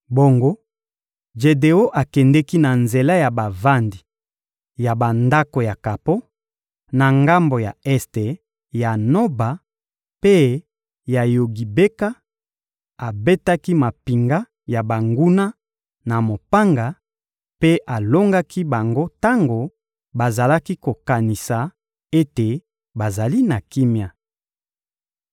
Bongo, Jedeon akendeki na nzela ya bavandi ya bandako ya kapo, na ngambo ya este ya Noba mpe ya Yogibeka; abetaki mampinga ya banguna na mopanga mpe alongaki bango tango bazalaki kokanisa ete bazali na kimia.